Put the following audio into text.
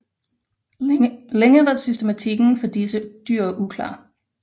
Længe var systematikken for disse dyr uklar